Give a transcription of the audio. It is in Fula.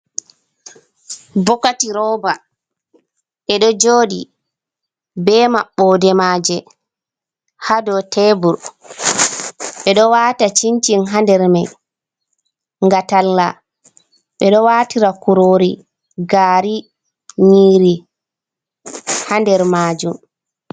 Bokati roba e ɗo joɗi be maɓɓode maje ha dow tebur, ɓeɗo wata cincin ha nder mai nga talla, ɓeɗo watira kurori, gari, nyiiri, ha nder majum.